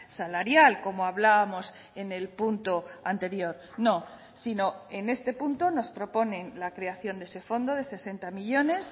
salarial como hablábamos en el punto anterior no sino en este punto nos proponen la creación de ese fondo de sesenta millónes